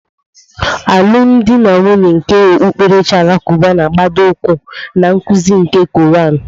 Alụmdi na nwunye nke okpukperechi Alakụba na-agbado ụkwụ na nkuzi nke Kụran.